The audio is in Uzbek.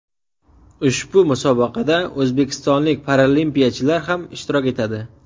Ushbu musobaqada o‘zbekistonlik paralimpiyachilar ham ishtirok etadi.